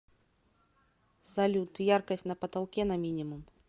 салют яркость на потолке на минимум